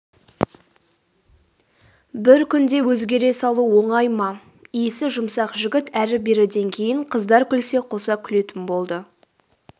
бір күнде өзгере салу оңай ма исі жұмсақ жігіт әрі-беріден кейін қыздар күлсе қоса күлетін болды